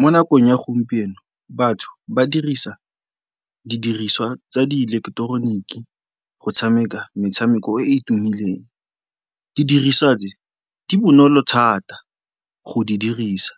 Mo nakong ya gompieno batho ba dirisa didiriswa tsa diileketeroniki go tshameka metshameko e e tumileng. Didiriswa tse, di bonolo thata go di dirisa